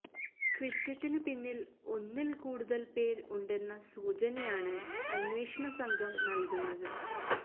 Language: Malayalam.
കൃത്യത്തിനു പിന്നില് ഒന്നില് കൂടുതല് പേര് ഉണ്ടെന്ന സൂചനയാണ് അന്വേഷണസംഘം നല്കുന്നത്